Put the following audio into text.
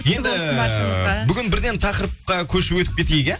енді бүгін бірден тақырыпқа көшіп өтіп кетейік иә